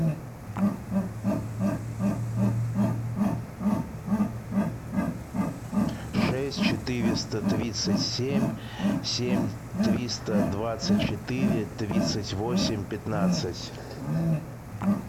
шесть четыреста тридцать семь семь триста двадцать четыре тридцать восемь пятнадцать